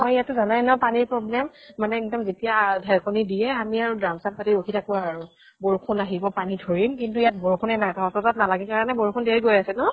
আমাৰ ইয়াত টো জানাই ন পানীৰ problem, মানে এক্দম যেতিয়া আ ঢেৰেকনী দিয়ে, আমি আৰু druম চ্ৰাম পাতি ৰখি থাকো আৰু। বৰষুন আহিব পানী ধৰিম, কিন্তু ইয়াত বৰষুনে নাই। তহঁতৰ তাত নালাগে কাৰণে বৰষুন দিয়ে গৈ আছে ন?